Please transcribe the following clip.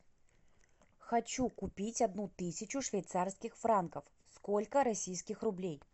хочу купить одну тысячу швейцарских франков сколько российских рублей